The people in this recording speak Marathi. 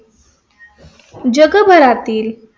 जगभरातील.